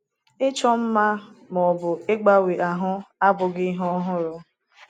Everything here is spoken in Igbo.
Ịchọ mma ma ọ bụ ịgbanwe ahụ abụghị ihe ọhụrụ.